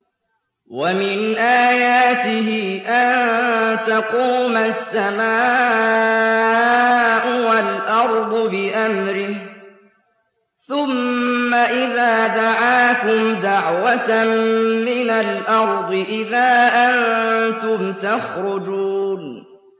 وَمِنْ آيَاتِهِ أَن تَقُومَ السَّمَاءُ وَالْأَرْضُ بِأَمْرِهِ ۚ ثُمَّ إِذَا دَعَاكُمْ دَعْوَةً مِّنَ الْأَرْضِ إِذَا أَنتُمْ تَخْرُجُونَ